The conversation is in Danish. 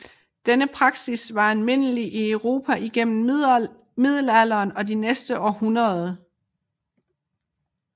Denne praksis var almindelig i Europa igennem Middelalderen og de næste århundreder